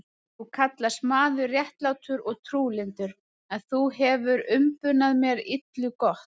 Þú kallast maður réttlátur og trúlyndur, en þú hefir umbunað mér illu gott.